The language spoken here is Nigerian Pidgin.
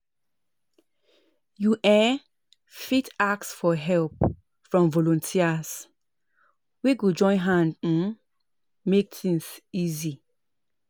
you um fit ask for help from volunteers wey go join hand um make things easy